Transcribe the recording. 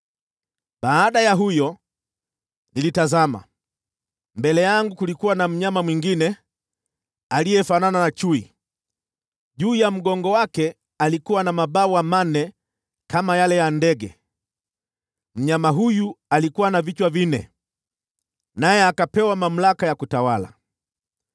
“Baada ya huyo, nilitazama, na mbele yangu kulikuwa na mnyama mwingine, aliyefanana na chui. Juu ya mgongo wake alikuwa na mabawa manne kama ya ndege. Mnyama huyu alikuwa na vichwa vinne, naye akapewa mamlaka ya kutawala.